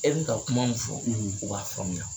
E be ka kuma mun fɔ, u b'a faamuya.